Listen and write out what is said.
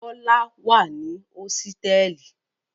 Bọ́lá wà ní hósítẹ́ẹ́lì.